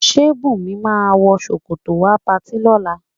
Ǹjẹ́ Bùnmi máa wọ ṣòkòtò wá patí lọ́la?